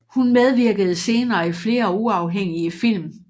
Hun medvirkede senere i flere uafhængige film